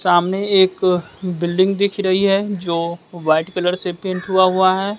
सामने एक बिल्डिंग दिख रही है जो वाइट कलर से पेंट हुआ हुआ है।